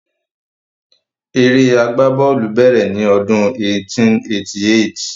Eré agbá bọ́ọ̀lù bèrè ni ọdún 1888